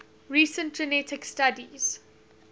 recent genetic studies